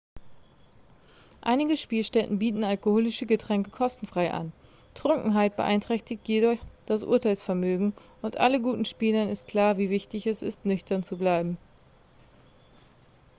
einige spielstätten bieten alkoholische getränke kostenfrei an trunkenheit beeinträchtigt jedoch das urteilsvermögen und allen guten spielern ist klar wie wichtig es ist nüchtern zu bleiben